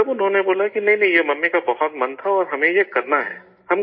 تب انہوں نے یہ بولا کہ نہیں نہیں، یہ ممی کا بہت من تھا اور ہمیں یہ کرنا ہے